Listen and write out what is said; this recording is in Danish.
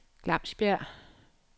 Glamsbjerg